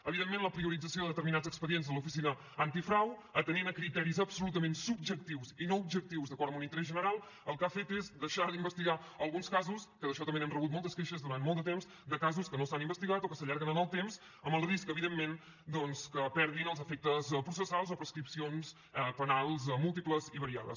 evidentment la priorització de determinats expedients de l’oficina antifrau atenent a criteris absolutament subjectius i no objectius d’acord amb un interès general el que ha fet és deixar d’investigar alguns casos que d’això també n’hem rebut moltes queixes durant molt de temps de casos que no s’han investigat o que s’allarguen en el temps amb el risc evidentment doncs que perdin els efectes processals o prescripcions penals múltiples i variades